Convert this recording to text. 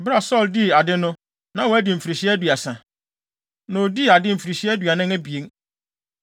Bere a Saulo dii ade no, na wadi mfirihyia aduasa. Na odii ade mfirihyia aduanan abien.